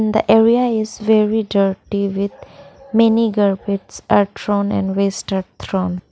the area is very dirty with many garbage are thrown and waste are thrown.